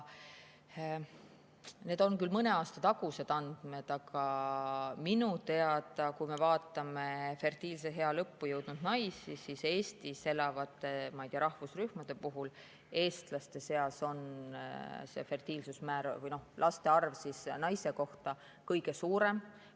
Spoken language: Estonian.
Need on küll mõne aasta tagused andmed, aga kui me vaatame fertiilse ea lõppu jõudnud naisi, siis näeme, et Eestis elavate rahvusrühmade puhul on eestlaste seas see fertiilsusmäär või laste arv naise kohta minu teada kõige suurem.